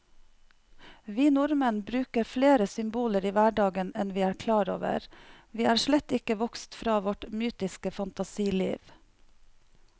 Vi nordmenn bruker flere symboler i hverdagen enn vi er klar over, vi er slett ikke vokst fra vårt mytiske fantasiliv.